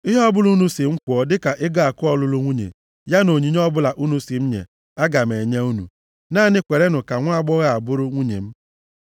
Ihe ọbụla unu sị m kwụọ dịka ego akụ ọlụlụ nwunye, ya na onyinye ọbụla unu si m nye aga m enye unu. Naanị kwerenụ ka nwaagbọghọ a bụrụ nwunye m.”